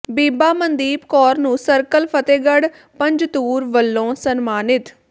ਬੀਬਾ ਮਨਦੀਪ ਕੌਰ ਨੂੰ ਸਰਕਲ ਫ਼ਤਿਹਗੜ੍ਹ ਪੰਜਤੂਰ ਵਲੋਂ ਸਨਮਾਨਿਤ